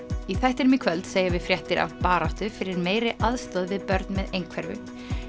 í þættinum í kvöld segjum við fréttir af baráttu fyrir meiri aðstoð við börn með einhverfu